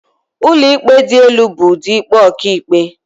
Ụlọikpe dị elu bụ ụdị ikpe ọkàikpe..